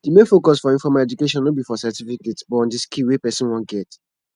the main focus for informal education no be for certificate but on di skill wey person wan get